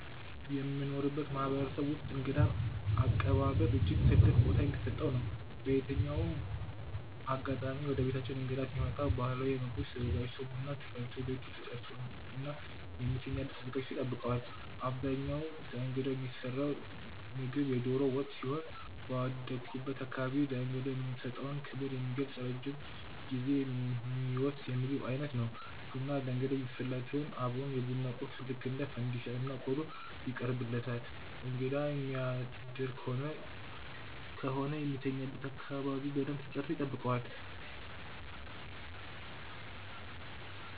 የምኖርበት ማህበረሰብ ውስጥእንግዳ አቀባበል እጅግ ትልቅ ቦታ ሚሰጠው ነው። በየትኛውም አጋጣሚ ወደቤታችን እንግዳ ሲመጣ ባህላዊ ምግቦች ተዘጋጅተው፣ ቡና ተፈልቶ፣ ቤቱ ተፀድቶ እና የሚተኛበት ተዘጋጅቶ ይጠብቀዋል። በአብዛኛው ለእንግዳው የሚሰራው ምግብ የዶሮ ወጥ ሲሆን ባደኩበት አካባቢ ለእንግዳው የምንሰጠውን ክብር የሚገልጽ ረጅም ጊዜ ሚወስድ የምግብ ዓይነት ነው። ቡና ለእንግዳ የሚፈላ ሲሆን አብሮም የቡና ቁርስ ልክ እንደ ፈንዲሻ እና ቆሎ ይቀርብለታል እንግዳ የሚያደር ከሆነ ከሆነ የሚተኛበት አካባቢ በደንብ ተጸድቶ ይጠብቀዋል።